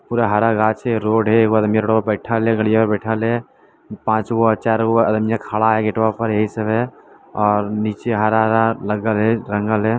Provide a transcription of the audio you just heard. पूरा हरा गाछ है रोड है एगो आदमी रोड पर बैठल है गड़ियां पर बैठल है पांच गो चार गो आदमियां खड़ा है गेटवा पर यही सब है और नीचे हरा-हरा लगल है रंगल है।